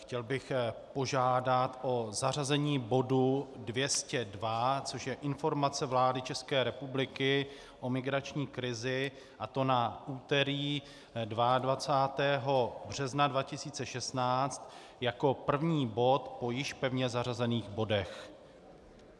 Chtěl bych požádat o zařazení bodu 202, což je Informace vlády České republiky o migrační krizi, a to na úterý 22. března 2016 jako první bod po již pevně zařazených bodech.